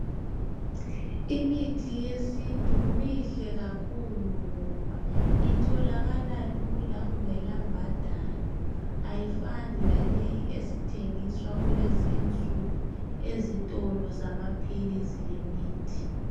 Imithi yesintu mihle kakhulu ngoba itholakala lula kungela mbadalo ayifani laleyi esithengiswa kulezi insuku ezitolo zamaphilisi lemithi.